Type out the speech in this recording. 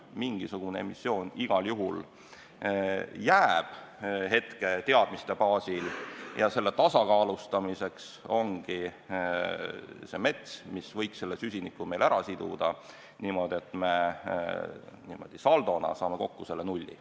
Mingisugune emissioon igal juhul jääb – hetke teadmiste baasil – ja selle tasakaalustamiseks ongi mets, mis võiks meil süsinikku siduda, et me niimoodi saldona saaksime kokku nulli.